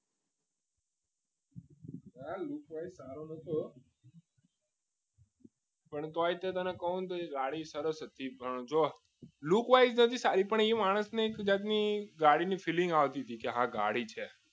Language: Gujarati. lookwise સારો જ હતો પણ તોય તને કહું ને તો એ ગાડી સાથે પણ જો નથી સારી પણ માણસને એક જાતની ગાડીની filling આવતી હતી કે ગાડી છે